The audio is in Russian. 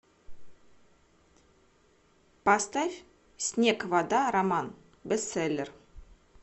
поставь снег вода роман бестселлер